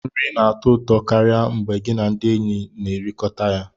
Nri na-atọ ụtọ karịa mgbe gị na ndị enyi na-ekekọrịta ya